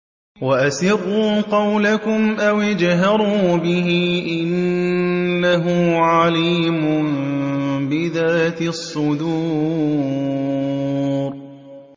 وَأَسِرُّوا قَوْلَكُمْ أَوِ اجْهَرُوا بِهِ ۖ إِنَّهُ عَلِيمٌ بِذَاتِ الصُّدُورِ